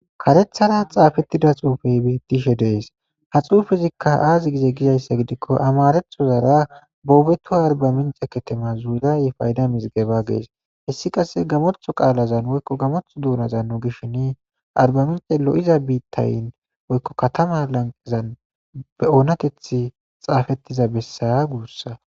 Karethara xaafettida xuufey bettishe dees ha xuufezikka aazi gize gizayssa gidikko amarethozara boobetu arbamince ketema zuuraye payda misgeba gees hessi qasse gamoltho qaalazan woykko gamoth duunazan nu gishshin arbamince lo7iza biittayn woykko katama lanqezan be oonateth xaafettiza bessaya guussa